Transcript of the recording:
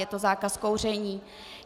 Je to zákaz kouření.